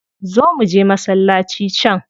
Zo muje masallaci can.